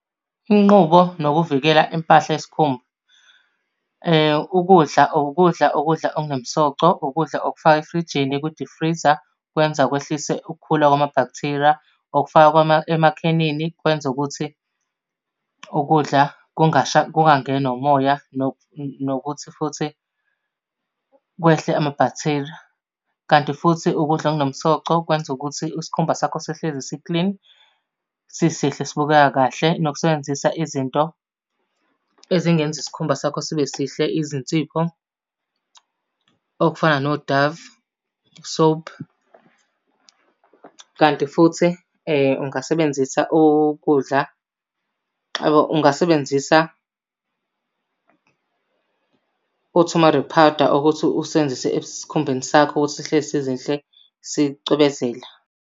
Inqubo nokuvikela impahla yesikhumba. Ukudla, ukudla ukudla okunomsoco, ukudla okufaka efrijini kwidifriza kwenza kwehlise ukukhula kwamabhakthiriya. Okufakwa emakhenini kwenza ukuthi ukudla kungangenwa umoya nokuthi futhi kwehle amabhaktheriya. Kanti futhi ukudla okunomsoco kwenza ukuthi isikhumba sakho sihlezi siklini sisihle sibukeka kahle. Nokusebenzisa izinto ezingenza isikhumba sakho sibe sihle izinsipho, okufana no-Dove soap. Kanti futhi ungasebenzisa ukudla, ungasebenzisa othomado powder ukuthi usebenzise esikhumbeni sakho ukuthi sihlezi zizinhle sicwebezela.